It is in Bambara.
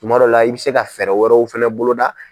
Kunmadɔw la, i bɛ se ka fɛɛrɛ wɛrɛw fɛnɛ bolo da.